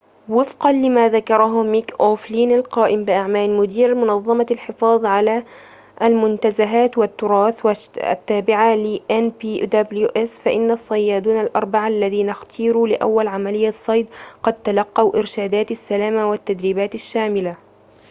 ووفقًا لما ذكره ميك أوفلين، القائم بأعمال مدير منظّمة الحفاظ على المنتزهات والتّراث التّابعة لnpws، فإن الصّيّادون الأربعة الّذين اختيروا لأوّل عمليّة صيد قد تلقوا إرشاداتِ السلامة والتدريباتٍ الشاملة